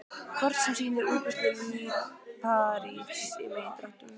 Kort sem sýnir útbreiðslu líparíts í megindráttum.